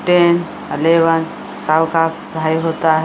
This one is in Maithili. टेन एलेवेन होता है।